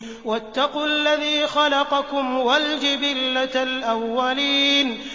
وَاتَّقُوا الَّذِي خَلَقَكُمْ وَالْجِبِلَّةَ الْأَوَّلِينَ